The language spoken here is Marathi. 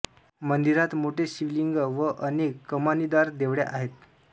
मंदिरात मोठे शिवलिंग व अनेक कमानीदार देवळ्या आहेत